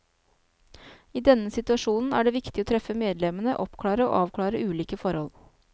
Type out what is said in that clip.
I denne situasjonen er det viktig å treffe medlemmene, oppklare og avklare ulike forhold.